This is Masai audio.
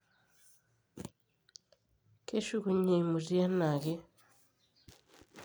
keshukunye eimutie eneeke